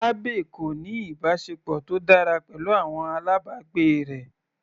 Abby kò ní ìbáṣepọ̀ tó dára pẹ̀lú àwọn alábàgbé rẹ̀.